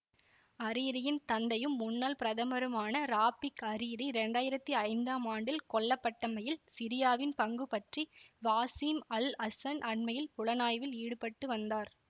அரீரியின் தந்தையும் முன்னாள் பிரதமருமான ராஃபிக் அரீரி இரண்டாயிரத்தி ஐந்தாம் ஆண்டில் கொல்லப்பட்டமையில் சிரியாவின் பங்கு பற்றி வாசிம் அல்அசன் அண்மையில் புலனாய்வில் ஈடுபட்டு வந்தார்